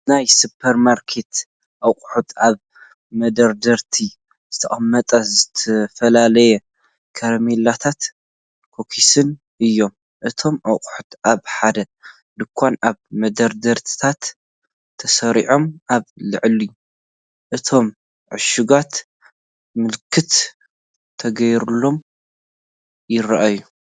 ናይ ሱፐርማርኬት ኣቑሑት ኣብ መደርደሪታት ዝተቐመጡ ዝተፈላለዩ ካራሜላታትን ኩኪስን እዮም። እቶም ኣቑሑት ኣብ ሓደ ድኳን ኣብ መደርደሪታት ተሰሪዖም ኣብ ልዕሊ እቶም ዕሹጋት ምልክት ተገይሮም ይርኣዩ።